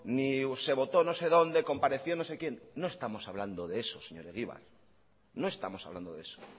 ni se votó no sé dónde compareció no sé quién no estamos hablando de eso señor egibar no estamos hablando de eso